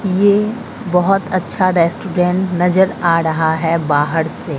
ये बहोत अच्छा रेस्टोरेंट नजर आ रहा है बाहर से।